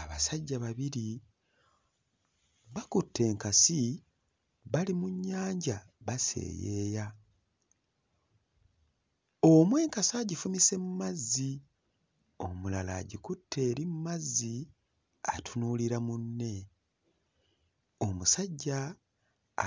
Abasajja babiri bakutte enkasi bali mu nnyanja baseeyeeya. Omu enkasi agifumise mu mazzi, omulala agikutte eri mu mazzi atunuulira munne. Omusajja